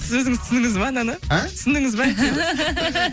сіз өзіңіз түсіндіңіз ба ананы і түсіндіңіз ба